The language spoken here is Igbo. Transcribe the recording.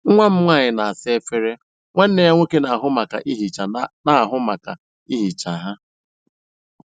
Nwa m nwanyị na-asa efere, nwanne ya nwoke na-ahụ maka ihicha na-ahụ maka ihicha ha.